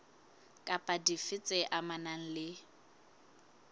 kapa dife tse amanang le